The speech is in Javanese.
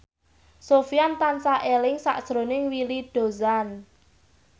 Sofyan tansah eling sakjroning Willy Dozan